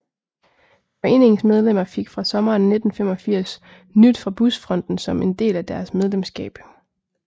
Foreningens medlemmer fik fra sommeren 1985 Nyt fra Busfronten som en del af deres medlemskab